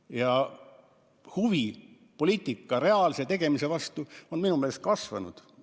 Ja huvi poliitika reaalse tegemise vastu on minu meelest kasvanud.